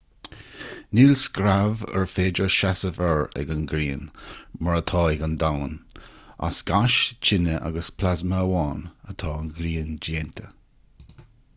níl screamh ar féidir seasamh air ag an ngrian mar atá ag an domhan as gáis tine agus plasma amháin atá an ghrian déanta